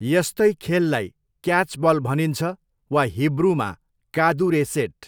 यस्तै खेललाई क्याचबल भनिन्छ वा हिब्रूमा कादुरेसेट।